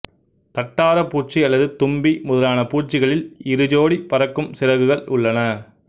தட்டாரப்பூச்சி அல்லது தும்பி முதலான பூச்சிகளில் இரு சோடி பறக்கும் சிறகுகள் உள்ளன